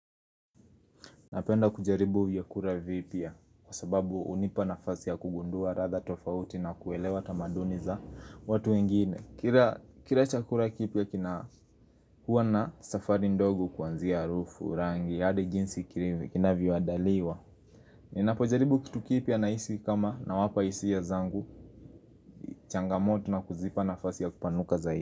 Napenda kujaribu viyakura vipya kwa sababu hunipa nafasi ya kugundua radha tofauti na kuelewa tamaduni za watu wengine Kira chakura kipya kina huwa na safari ndogo kuanzia harufu rangi ya hadi jinsi kinavyo adaliwa Ninapojaribu kitu kipya na hisi kama na wapa hisia zangu changamoto na kuzipa nafasi ya kupanuka zaidi.